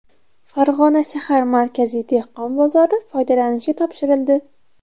Farg‘ona shahar Markaziy dehqon bozori foydalanishga topshirildi.